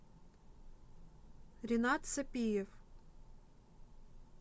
ренат сапиев